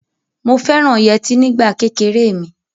Mo fẹ́ràn yẹtí nígbà kékeré mi.